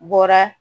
Bɔra